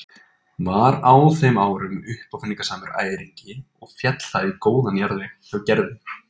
Var á þeim árum uppáfinningasamur æringi og féll það í góðan jarðveg hjá Gerði.